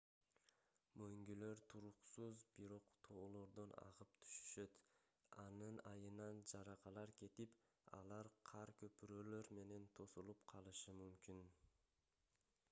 мөңгүлөр туруксуз бирок тоолордон агып түшүшөт анын айынан жаракалар кетип алар кар көпүрөлөр менен тосулуп калышы мүмкүн